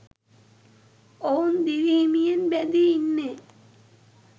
ඔවුන් දිවි හිමියෙන් බැඳී ඉන්නෙ